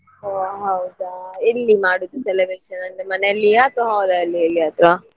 ಒಹ್ ಹೌದಾ ಎಲ್ಲಿ ಮಾಡುದು celebration ಅಂದ್ರೆ ಮನೆಯಲ್ಲಿಯಾ ಅಥವಾ hall ಲಲ್ಲಿ ಎಲ್ಲಿಯಾದ್ರೂ?